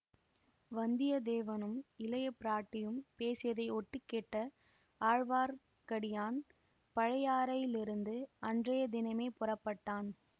வந்தியத்தேவனும் இளையபிராட்டியும் பேசியதைக் ஒட்டு கேட்ட ஆழ்வார்க்கடியான் பழையாறையிலிருந்து அன்றைய தினமே புறப்பட்டான்